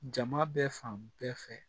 Jama bɛ fan bɛɛ fɛ